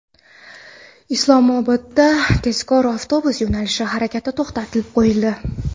Islomobodda tezkor avtobus yo‘nalishi harakati to‘xtatib qo‘yildi.